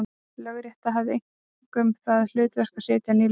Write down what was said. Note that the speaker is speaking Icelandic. Lögrétta hafði einkum það hlutverk að setja ný lög.